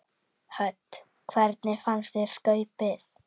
Hödd: Hvernig fannst þér skaupið?